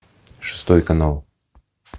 шестой канал